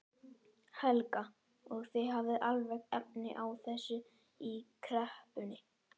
Helga: Og þið hafið alveg efni á þessu í kreppunni?